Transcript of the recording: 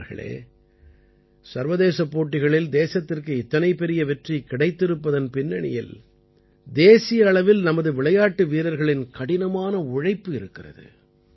நண்பர்களே சர்வதேசப் போட்டிகளில் தேசத்திற்கு இத்தனை பெரிய வெற்றி கிடைத்திருப்பதன் பின்னணியில் தேசிய அளவில் நமது விளையாட்டு வீரர்களின் கடினமான உழைப்பு இருக்கிறது